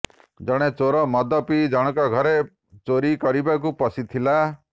ଜଣେ ଚୋର ମଦ ପିଇ ଜଣକ ଘରେ ଚୋରି କରିବାକୁ ପଶିଥିଲା